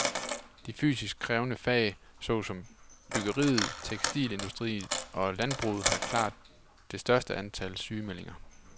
De fysisk krævende fag så som byggeriet, tekstilindustrien og landbruget har klart det største antal sygemeldinger.